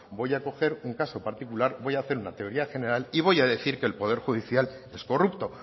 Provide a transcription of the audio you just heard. voy a coger un caso particular voy a hacer una teoría general y voy a decir que el poder judicial es corrupto